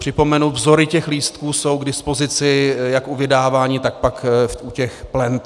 Připomenu - vzory těch lístků jsou k dispozici jak u vydávání, tak pak u těch plent.